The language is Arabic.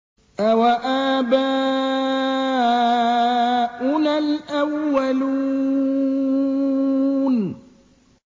أَوَآبَاؤُنَا الْأَوَّلُونَ